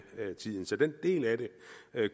tiden så den del af det